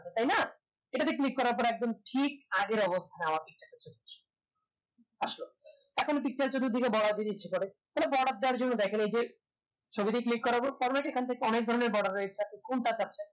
সেটা তে click করার পর ঠিক আগের অবস্থায় আমার picture টা চলে আসবে আসলো এখন picture বাড়াতে ইচ্ছে করে থালে বর্ডার দেয়ার জন্য দেখেন এই যে ছবিতে click করবো তার মাজে এখন থেকে অনেক ধরণের বর্ডার রয়েছে কোনটা